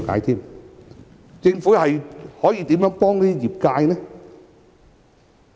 政府可如何幫助業界呢？